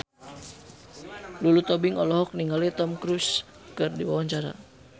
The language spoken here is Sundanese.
Lulu Tobing olohok ningali Tom Cruise keur diwawancara